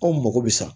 Anw mago bɛ san